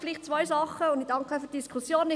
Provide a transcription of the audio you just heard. Ich danke für die Diskussion.